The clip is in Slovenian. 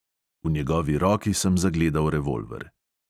V njegovi roki sem zagledal revolver.